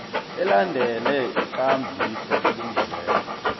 alandele ikambiso elungileko